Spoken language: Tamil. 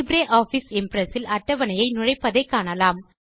லிப்ரியாஃபிஸ் இம்ப்ரெஸ் இல் அட்டவணையை நுழைப்பதை காணலாம்